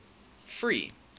free